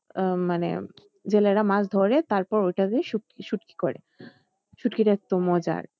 আহ মানে জেলেরা মাছ ধরে তারপর ওটাকে শুটকি শুটকি করে শুটকিটা একটু মজার